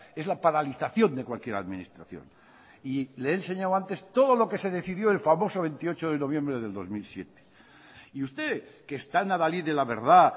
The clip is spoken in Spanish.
es la paralización de cualquier administración y le he enseñado antes todo lo que se decidió el famoso veintiocho de noviembre del dos mil siete y usted que es tan adalid de la verdad